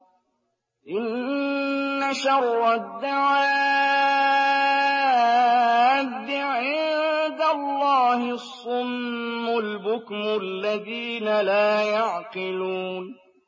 ۞ إِنَّ شَرَّ الدَّوَابِّ عِندَ اللَّهِ الصُّمُّ الْبُكْمُ الَّذِينَ لَا يَعْقِلُونَ